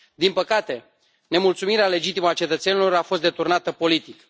Din păcate, nemulțumirea legitimă a cetățenilor a fost deturnată politic.